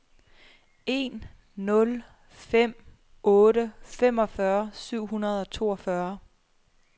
en nul fem otte femogfyrre syv hundrede og toogfyrre